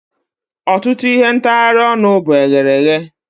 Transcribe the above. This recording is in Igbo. Ọtụtụ ihe ntagharị ọnụ bụ eghereghe